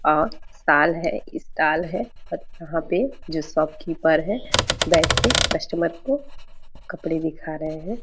और शॉल है स्टाल है और यहाँ पे जो शॉपकीपर है बैठ के कस्टमर को कपड़े दिखा रहे है।